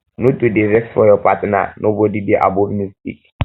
no too dey vex for your partner nobodi dey above mistake